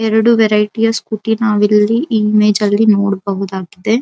ಎರಡು ವೆರೈಟಿಯ ಸ್ಕೂಟಿ ನಾವಿಲ್ಲಿ ಈ ಇಮೇಜ್ ಅಲ್ಲಿ ನೋಡಬಹುದಾಗಿದೆ.